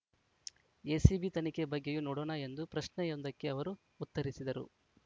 ACB ತನಿಖೆ ಬಗ್ಗೆಯೂ ನೋಡೋಣ ಎಂದು ಪ್ರಶ್ನೆಯೊಂದಕ್ಕೆ ಅವರು ಉತ್ತರಿಸಿದರು